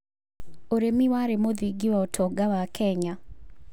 ũrĩmi warĩ mũthingi wa ũtonga wa Kenya.